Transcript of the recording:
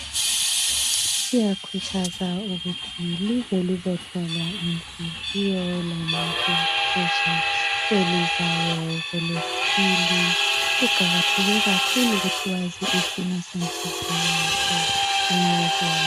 siyakhuthaza ukuthi lize lizohlolwa inhliziyo lama bhiphi kwelizayo kwelesibili kuqakathekile kakhulu ukuthi ukwazi isimo senhliziyo yakho.